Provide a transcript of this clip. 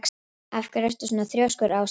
Af hverju ertu svona þrjóskur, Ásleif?